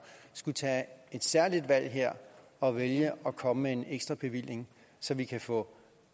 tage et særligt valg her og vælge at komme med en ekstrabevilling så vi kan få